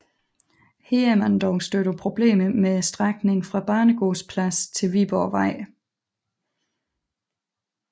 Her er man dog stødt på problemer med strækningen fra Banegårdspladsen til Viborgvej